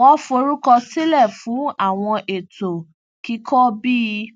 wọn forúkọ sílẹ fún àwọn ètò kíkọ bí